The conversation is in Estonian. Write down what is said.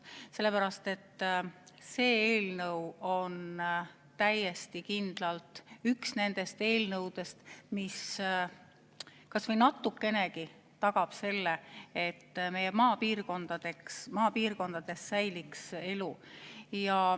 See eelnõu on täiesti kindlalt üks nendest eelnõudest, mis kas või natukenegi aitab tagada seda, et meie maapiirkondades säiliks elu.